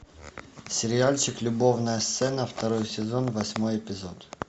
сериальчик любовная сцена второй сезон восьмой эпизод